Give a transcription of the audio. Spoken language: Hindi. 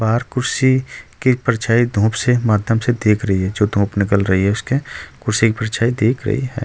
और कुर्सी की परछाई धूप से माध्यम से देख रही है जो धूप निकल रही है उसके कुर्सी की परछाई देख रही है।